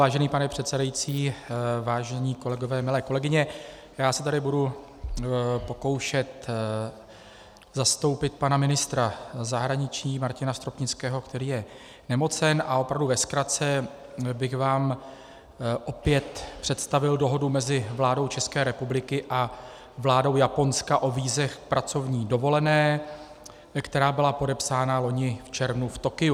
Vážený pane předsedající, vážení kolegové, milé kolegyně, já se tady budu pokoušet zastoupit pana ministra zahraničí Martina Stropnického, který je nemocen, a opravdu ve zkratce bych vám opět představil Dohodu mezi vládou České republiky a vládou Japonska o vízech k pracovní dovolené, která byla podepsána loni v červnu v Tokiu.